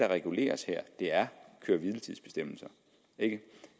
reguleres her er køre hvile tids bestemmelser det